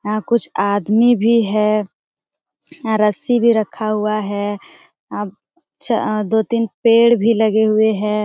हां कुछ आदमी भी है रस्सी भी रखा हुआ है अप च दो-तीन पेड़ पर लगे हुए हैं।